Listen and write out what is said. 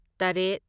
ꯇꯔꯦꯠ